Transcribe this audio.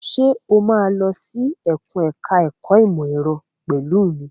Ṣé o máa lọ sí ẹkùn ẹ̀ka ẹ̀kó ìmọ̀ ẹ̀rọ pẹ̀lú mi?